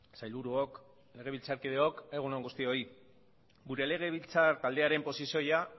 sailburuok legebiltzarkideok egun on guztioi gure legebiltzar taldearen posizioa